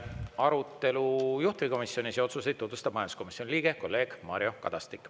Arutelu juhtivkomisjonis ja seal tehtud otsuseid tutvustab majanduskomisjoni liige kolleeg Mario Kadastik.